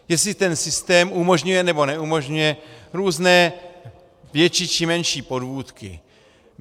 Jestli ten systém umožňuje, nebo neumožňuje různé větší či menší podvůdky.